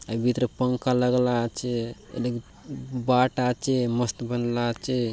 हाय भीतरे पंखा लगला आचे ये लगे बाटआचे मस्त बंगला आचे।